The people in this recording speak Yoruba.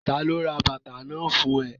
Ta ló ra bàtà náà fún ẹ?